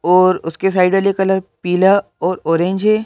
और उसके साइड वाले कलर पीला और ऑरेंज है।